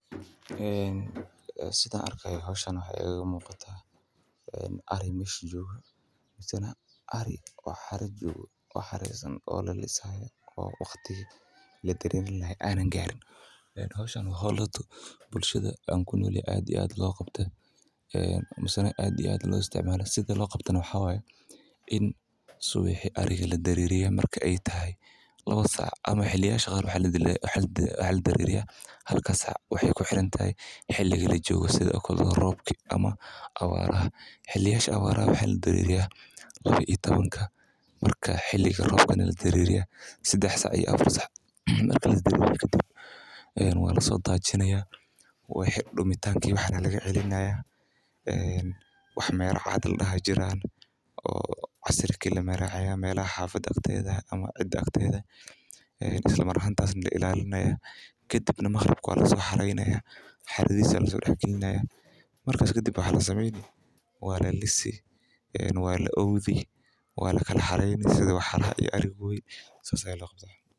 Sidaan arkaayo howshaan waxaa igaga muqataa ari mesha joogo misane ari oo xara joogo, xareysan oo la lisaayo oo waqtigi la dareerin lahaa aanan gaarin. Howshaan waa howl bulshada aan kunol yahay aad iyo aad logu qabta misana aad loo isticmaalo sida loo qabtano waxaa waaye in subixi ariga la dareriyo marka aay tahay lawa sac ama xili yaasha qaar waxaa la dareeriyaa halka sac waxaay ku xirantahay xiliga lajoogo sidi oo kale roobki ama abaaraha. Xiliyaasha abaaraha waxaa la dareeriyaa lawa iyo tobankamarka xiliga robkana la dareeriyaa sidax sac iyo afar sac. Marki la dareeriyo kadib waa lasoo daajinaayaa wixi dumitaanka iyo waxaan aa laga celinaayaa, wax mera cad ladahaa jiraan oo casarki lamaraayaa melaha xaafada akteeda ama cida akteeda eh, islamar ahaantaas la ilaalinaayaa kadibna maqribki waa lasoo xareynayaa xaradiisa lasoo dax gilinaayaa markaas kadib waxaa lasameyni waa lalisi, la oodi waa laka xareyni sidi waxaraha iyo arigodi saas ayaa loo qabtaa.